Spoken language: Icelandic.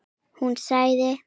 Hún sagði